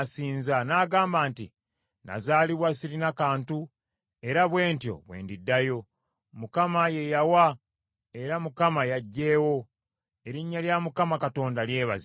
n’agamba nti, “Nazaalibwa sirina kantu era bwe ntyo bwe ndiddayo. Mukama ye yawa era Mukama y’aggyeewo, erinnya lya Mukama Katonda lyebazibwe.”